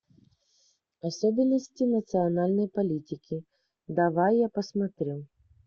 особенности национальной политики давай я посмотрю